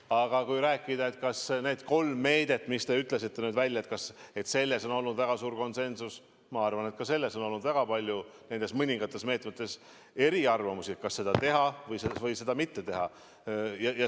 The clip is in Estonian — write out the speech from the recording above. Aga kui rääkida sellest, kas nende kolme meetme puhul, mis te ütlesite välja, on olnud väga suur konsensus, siis ma arvan, et ka nende mõningate meetmete puhul on olnud väga palju eriarvamusi, kas seda teha või mitte teha.